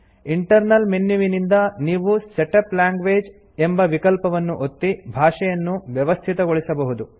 internal ಮೆನ್ಯುವಿನಿಂದ ನೀವು setup language ಎಂಬ ವಿಕಲ್ಪವನ್ನು ಒತ್ತಿ ಭಾಷೆಯನ್ನು ವ್ಯವಸ್ಥೆಗೊಳಿಸಬಹುದು